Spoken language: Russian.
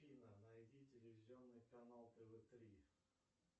афина найди телевизионный канал тв три